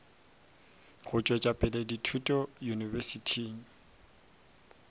go tšwetša dithuto pele yunibesithing